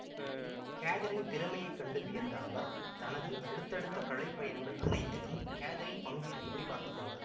கேதரினின் திறமையை கண்டு வியந்த அவர் தனது அடுத்தடுத்த கலைப்பயணங்கள் அனைத்திலும் கேதரினின் பங்கு இருக்கும்படி பார்த்துக்கொண்டார்